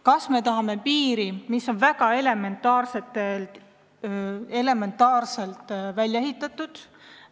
Kas me tahame piiri, mis on elementaarselt välja ehitatud?